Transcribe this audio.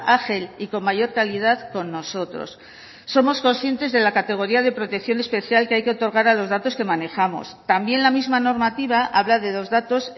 ágil y con mayor calidad con nosotros somos conscientes de la categoría de protección especial que hay que otorgar a los datos que manejamos también la misma normativa habla de dos datos